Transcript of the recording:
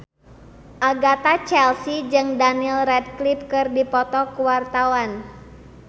Agatha Chelsea jeung Daniel Radcliffe keur dipoto ku wartawan